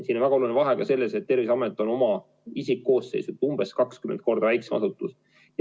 Siin on väga oluline vahe selles, et Terviseamet on oma isikkoosseisult umbes 20 korda väiksem asutus.